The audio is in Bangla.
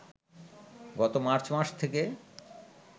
গত মার্চ মাস থেকে